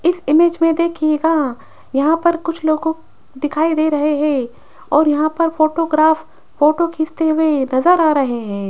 इस इमेज में देखिएगा यहां पर कुछ लोगों दिखाई दे रहे हैं और यहां पर फोटोग्राफ फोटो खींचते हुए नजर आ रहे हैं।